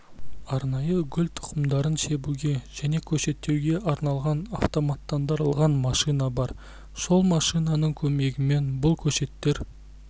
арнайы гүл тұқымдарын себуге және көшеттеуге арналған автоматтандырылған машина бар сол машинаның көмегімен бұл көшеттер